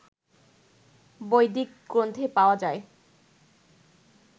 বৈদিক গ্রন্থে পাওয়া যায়